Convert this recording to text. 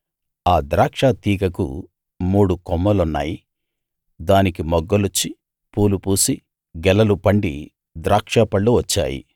ఆ ద్రాక్షతీగకు మూడు కొమ్మలున్నాయి దానికి మొగ్గలొచ్చి పూలు పూసి గెలలు పండి ద్రాక్షపళ్ళు వచ్చాయి